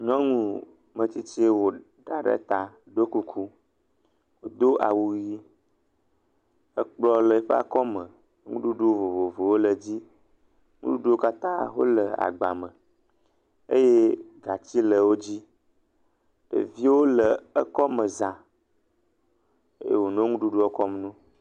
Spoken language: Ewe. nyɔŋu metsitsi woɖa ɖe ta ɖó kuku dó awu yi ekplɔ̃ le yiƒa kɔme nuɖuɖu vovovowo le dzi ŋuɖuɖuwo katã hoe le agba me eye gatsi le wodzi ɖeviwo le yɔ'kɔme zã eye wònɔ ŋuɖuɖuɔ kɔm nowo